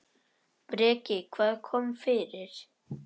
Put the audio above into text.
Breki: Hvað kom fyrir?